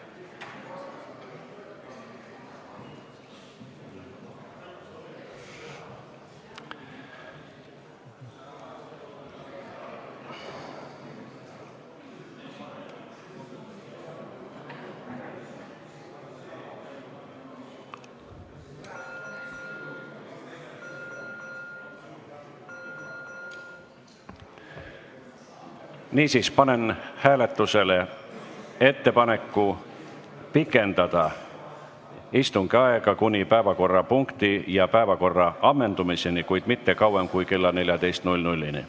Niisiis, panen hääletusele ettepaneku pikendada istungi aega kuni päevakorrapunkti ja päevakorra ammendumiseni, kuid mitte kauem kui kella 14-ni.